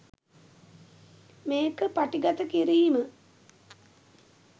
මේක පටිගත කිරීම